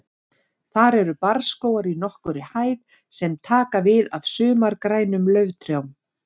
Þar eru barrskógar í nokkurri hæð sem taka við af sumargrænum lauftrjám.